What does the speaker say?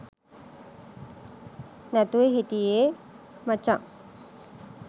නැතුව හිටියේ මචන්.